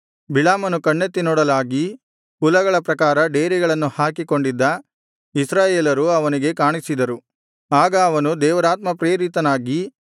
ಬಿಳಾಮನು ಕಣ್ಣೆತ್ತಿ ನೋಡಲಾಗಿ ಕುಲಗಳ ಪ್ರಕಾರ ಡೇರೆಗಳನ್ನು ಹಾಕಿಕೊಂಡಿದ್ದ ಇಸ್ರಾಯೇಲರು ಅವನಿಗೆ ಕಾಣಿಸಿದರು ಆಗ ಅವನು ದೇವರಾತ್ಮಪ್ರೇರಿತನಾಗಿ